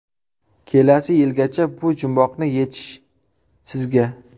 Kelasi yilgacha bu jumboqni yechish sizga.